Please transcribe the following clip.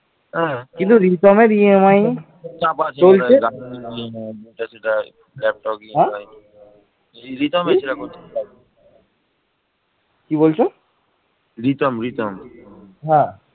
ছয় বৎসর ধরে রক্তক্ষয়ী সংগ্রাম করার পর শশাঙ্ক শেষ পর্যন্ত পরাজিত হন হর্ষবর্ধন বাংলার রাজধানী গৌড় দখল করে নেন